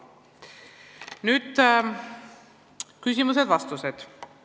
Nüüd küsimused-vastused.